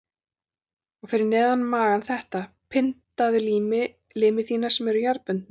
Og fyrir neðan magann þetta: Pyndaðu limi þína sem eru jarðbundnir.